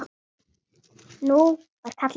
Nú var kallað á mig!